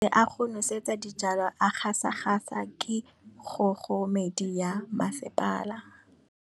Metsi a go nosetsa dijalo a gasa gasa ke kgogomedi ya masepala.